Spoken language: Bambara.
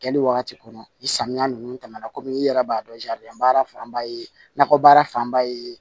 Kɛli wagati kɔnɔ ni samiya nunnu tɛmɛna kɔmi i yɛrɛ b'a dɔn baara fanba ye nakɔbaara fanba ye